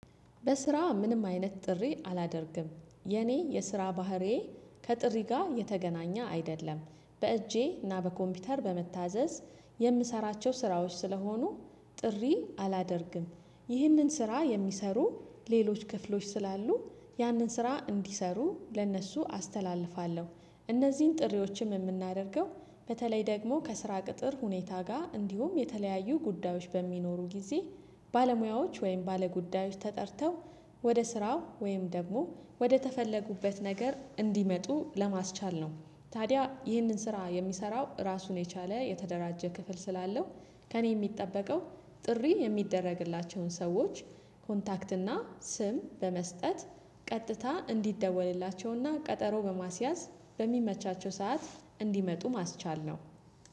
በስራ ምንም አይነት ጥሪ አላደርግም የኔ የስራ ባህሪዬ ከጥሪ ጋር የተገናኘ አይደለም። በእጄ እና በኮምፒውተር በመታዘዝ የምሰራቸው ስራዎች ስለሆኑ ጥሪ አላደርግም። ይህንን ስራ የሚሰሩ ሌሎች ክፍሎች ስላሉ ያንን ስራ እንዲሰሩ ለእነሱ አስተላልፋለሁ። እነዚህን ጥሪዎችም የምናደርገው በተለይ ደግሞ ከስራ ቅጥር ሁኔታ ጋር እንዲሁም የተለያዩ ጉዳዮች በሚኖሩ ጊዜ ባለሙያዎች ወይም ባለጉዳዮች ተጠርተው ወደ ስራው ወይም ደግሞ ወደ ተፈለጉበት ነገር እንዲመጡ ለማስቻል ነው። ታዲያ ይህንን ስራ የሚሰራው ራሱን የቻለ የተደራጀ ክፍል ስላለው። ከእኔ የሚጠበቀው ጥሪ የሚደረግላቸውን ሰዎች ኮንታክት እና ስም በመስጠት ቀጥታ እንዲደወልላቸውና ቀጠሮ በማስያዝ በሚመቻቸው ሰዓት እንዲመጡ ማስቻል ነው